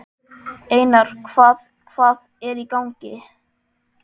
Einar, hvað hvað er í gangi?